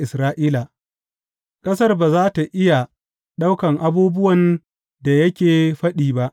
Ƙasar ba za tă iya ɗauka abubuwan da yake faɗi ba.